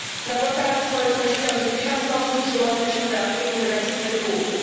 Na portalach społecznościowych tysiące osób przyłącza się do antyimigracyjnych ruchów.